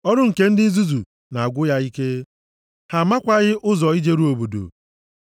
Ọrụ nke ndị nzuzu na-agwụ ya ike, ha makwaghị ụzọ ijeru obodo.